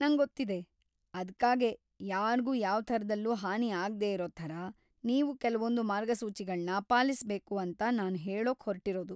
ನಂಗೊತ್ತಿದೆ, ಅದ್ಕಾಗೇ ಯಾರ್ಗೂ ಯಾವ್ಥರದಲ್ಲೂ ಹಾನಿ ಆಗ್ದೇ ಇರೋ ಥರ ನೀವು ಕೆಲ್ವೊಂದ್‌ ಮಾರ್ಗಸೂಚಿಗಳ್ನ ಪಾಲಿಸ್ಬೇಕು ಅಂತ ನಾನ್‌ ಹೇಳೋಕ್‌ ಹೊರ್ಟಿರೋದು!